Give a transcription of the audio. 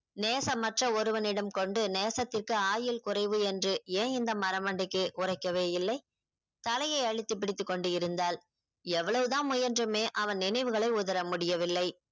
நேசமற்ற ஒருவனிடம் கொண்டு நேசத்திற்கு ஆயுள் குறைவு ஏன் இந்த மரமண்டைக்கு உரைக்கவே இல்லை தலையை அழுத்தி பிடித்துக் கொண்டு இருந்தாள் எவ்வளவு தான் முயன்றோமே அவ்ன் நினைவுகளை உதற முடியவில்லை